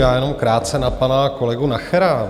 Já jenom krátce na pana kolegu Nachera.